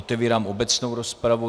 Otevírám obecnou rozpravu.